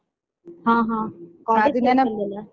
ಹಾ ಹಾ college days ಅಲ್ಲಿ ಅಲ್ಲಾ?